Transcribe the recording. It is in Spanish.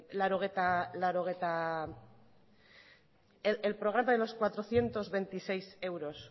el programa de los cuatrocientos veintiséis euros